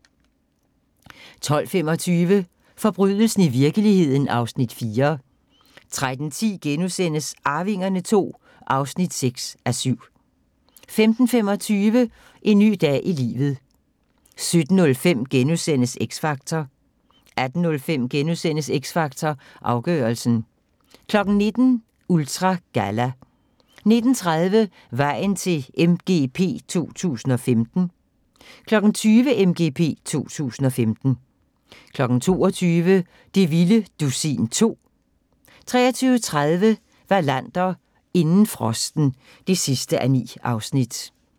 12:25: Forbrydelsen i virkeligheden (Afs. 4) 13:10: Arvingerne II (6:7)* 15:25: En ny dag i livet 17:05: X Factor * 18:05: X Factor Afgørelsen * 19:00: Ultra Galla 19:30: Vejen til MGP 2015 20:00: MGP 2015 22:00: Det vilde dusin 2 23:30: Wallander: Inden frosten (9:9)